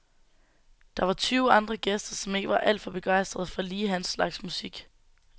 Der var tyve andre gæster, som ikke var alt for begejstrede for lige hans slags musik.